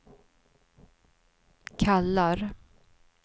kallar